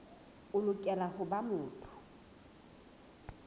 o lokela ho ba motho